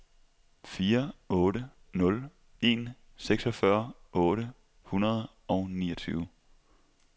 fire otte nul en seksogfyrre otte hundrede og niogtyve